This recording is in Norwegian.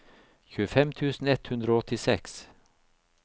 tjuefem tusen ett hundre og åttiseks